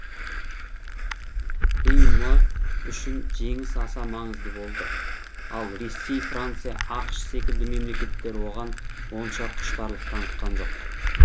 им үшін жеңіс аса маңызды болды ал ресей франция ақш секілді мемлекеттер оған онша құштарлық танытқан жоқ